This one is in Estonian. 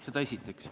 Seda esiteks.